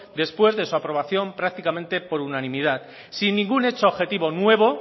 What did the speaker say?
después de su aprobación prácticamente por unanimidad sin ningún hecho objetivo nuevo